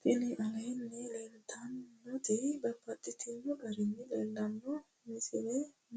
Tinni aleenni leelittannotti babaxxittinno garinni leelittanno misile